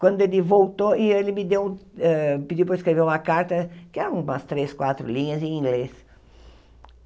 Quando ele voltou, e ele me deu eh pediu para eu escrever uma carta, que eram umas três, quatro linhas em inglês.